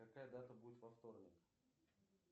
какая дата будет во вторник